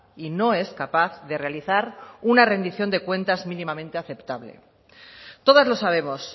y no es capaz de realizar una rendición de cuentas mínimamente aceptable todas lo sabemos